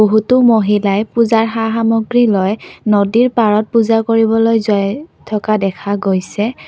বহুতো মহিলাই পূজাৰ সা সামগ্ৰী লৈ নদীৰ পাৰত পূজা কৰিবলৈ যায় থকা দেখা গৈছে।